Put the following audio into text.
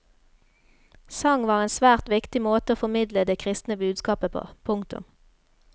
Sang var en svært viktig måte å formidle det kristne budskapet på. punktum